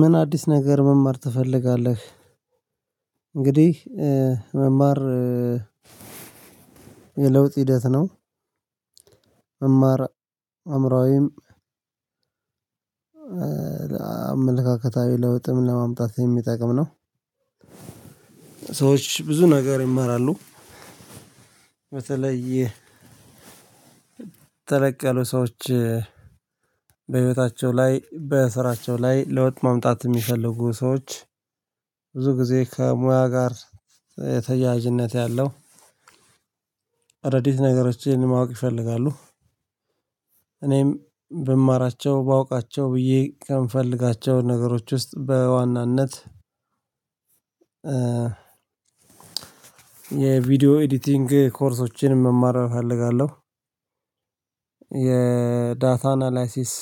ምን አዲስ ነገር መማር ትፈልጋለህ? እንግዲህ መማር የለውጥ ሂደት ነው። አማራ አምሮዊም አመለካከታዊ ለውጥም ለማምጣት የሚጠቅም ነው። ሰዎች ብዙ ነገር ይማራሉ። በተለየ ተለቅ ያሉ ሰዎች በህይወታቸው ላይ በስራቸው ላይ ለውጥ ማምጣት የሚፈልጉ ሰዎች ብዙ ጊዜ ከሙያ ጋር የተያያዥነት ያለው አዳዲስ ነገሮችን ማወቅ ይፈልጋሉ። እኔም ብማራቸው ባውቃቸው ብዬ ከምፈልጋቸው ነገሮች ውስጥ በዋናነት የቪዲዮ ኤዲቲንግ ኮርሶችን መማር እፈልጋለሁ። የዳታ አናላይሲስ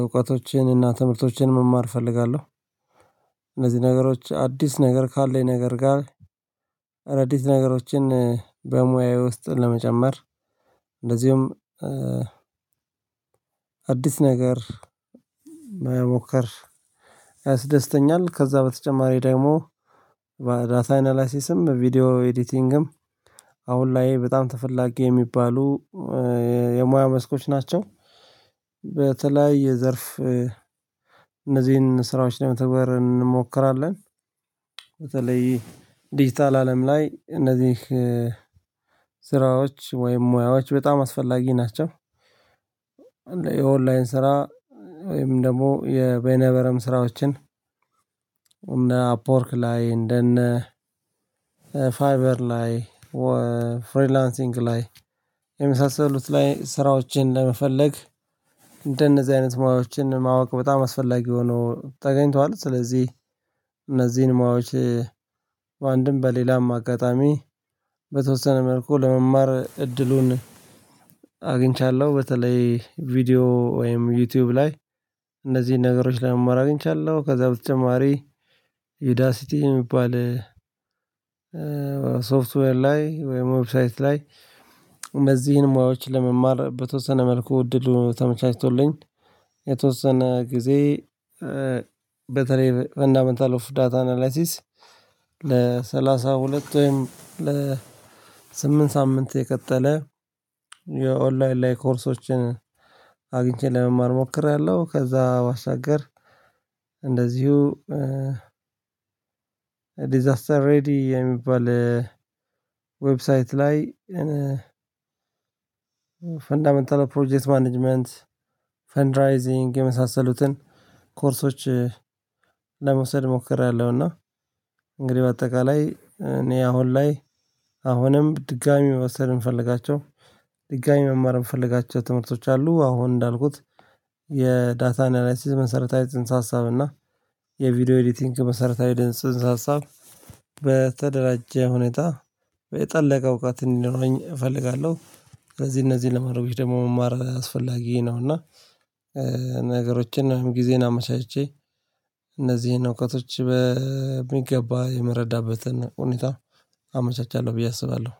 እውቀቶችን እና ትምህርቶችን መማር እፈልጋለሁ። እነዚህ ነገሮች አዲስ ነገር ካለኝ ነገር ጋር አዳዲስ ነገሮችን በሙያዬ ውስጥ ለመጨመር እንደዚሁም አዲስ ነገር መሞከር ያስደስተኛል። ከዛ በተጨማሪ ደግሞ በዳታ አናላሲስም ቪዲዮ ኤዲቲንግም አሁን ላይ በጣም ተፈላጊ የሚባሉ የሙያ መስኮች ናቸው። በተለይ የዘርፍ እነዚህን ስራዎች ለመተግበር እንሞክራለን። በተለይ ዲጂታል አለም ላይ እነዚህ ስራዎች ወይም ሙያዎች በጣም አስፈላጊ ናቸው። የኦንላይን ስራ ወይም ደግሞ የቤነበረም ስራዎችን እና አፕወርክ ላይ እንደነ ፋይበር ላይ ፍሪላንሲንግ ላይ የመሳሰሉት ላይ ስራዎችን ለመፈለግ እንደነዚህ አይነት ሞያዎችን ማወቅ በጣም አስፈላጊ ሆኖ ተገኝቷል። ስለዚህ እነዚህን ሞያዎች በአንድም በሌላም አጋጣሚ በተወሰነ መልኩ ለመማር እድሉን አግኝቻለሁ። በተለይ ቪዲዮ ወይም ዩቲዩብ ላይ እንደዚህ ነገሮች ለመማር አግኝቻለሁ። ከዛ በተጨማሪ ዩዳሲቲ የሚባል ሶፍትዌር ላይ ወይም ዌብሳይት ላይ እነዚህን ሙያዎች ለመማር በተወሰነ መልኩ እድሉ ተመቻችቶልኝ። የተወሰነ ጊዜ በተለይ ፋንዳሜንታል ኦፍ ዳታ አናላሲስ ለሰላሳ ሁለት ወይም ለስምንት ሳምንት የቀጠለ የኦንላይን ላይ ኮርሶችን አግኝቼ ለመማር እሞክራለሁ። ከዛ ባሻገር እንደዚሁ ዲዛስተር ሬዲ የሚባል ዌብሳይት ላይ ፈንዳመንታል ፕሮጀክት ማኔጅመንት፣ ፈንድራይዚንግ የመሳሰሉትን ኮርሶች ለመውሰድ ሞክሬያለሁ። እና እንግዲህ በአጠቃላይ እኔ አሁን ላይ አሁንም ድጋሚ መውሰድ እምፈልጋቸው ድጋሚ መማር እምፈልጋቸው ትምህርቶች አሉ። አሁን እንዳልኩት የዳታ አናላይሲስ መሰረታዊ ጽንሰ ሀሳብ እና የቪዲዮ ኤዲቲንግ መሰረታዊ ጽንሰ ሀሳብ በተደራጀ ሁኔታ የጠለቀ እውቀት እንዲኖረኝ እፈልጋለሁ። ስለዚህ እነዚህ ለማረብሽ ደግሞ መማር አስፈላጊ ነው። እና ነገሮችን አሁን ጊዜን አመቻችቼ እነዚህን እውቀቶች በሚገባ የመረዳበትን ሁኔታ አመቻቻለሁ ብዬ አስባለሁ።